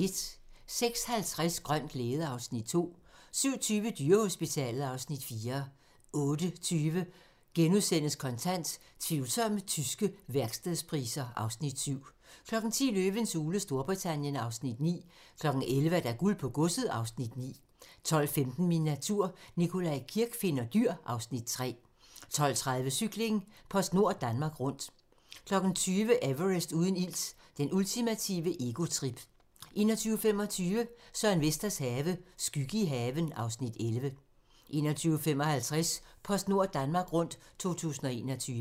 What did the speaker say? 06:50: Grøn glæde (Afs. 2) 07:20: Dyrehospitalet (Afs. 4) 08:20: Kontant: Tvivlsomme tyske værkstedspriser (Afs. 7)* 10:00: Løvens hule Storbritannien (Afs. 9) 11:00: Guld på godset (Afs. 9) 12:15: Min natur - Nikolaj Kirk finder dyr (Afs. 3) 12:30: Cykling: PostNord Danmark Rundt 20:00: Everest uden ilt - det ultimative egotrip 21:25: Søren Vesters Have - skygge i haven (Afs. 11) 21:55: PostNord Danmark Rundt 2021